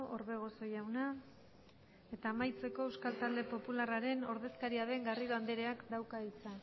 orbegozo jauna eta amaitzeko euskal talde popularraren ordezkaria den garrido andereak dauka hitza